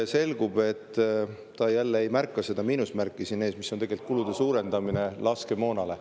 Selgub, et ta jälle ei märganud seda miinusmärki siin ees, mis tähendab tegelikult laskemoonakulude suurendamist.